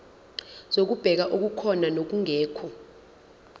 zokubheka okukhona nokungekho